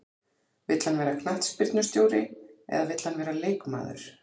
Vill hann vera knattspyrnustjóri eða vill hann vera leikmaður?